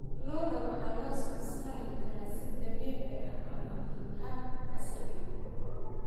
Lo'da waxaa loo soo saari karaa si dabiici ah ama hab casri ah.